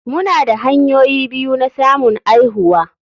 Muna da hanyoyi biyu na samun aihuwa.